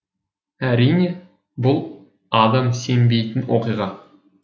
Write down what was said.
әрине бұл адам сенбейтін оқиға